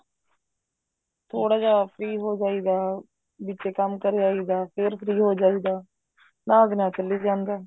ਥੋੜਾ ਜਾ free ਹੋ ਜਾਈਦਾ ਵਿੱਚੇ ਕੰਮ ਕਰੇ ਆਈਦਾ ਫ਼ੇਰ free ਹੋ ਜਾਈਦਾ ਨਾਲ ਦੇ ਨਾਲ ਚੱਲੀ ਜਾਂਦਾ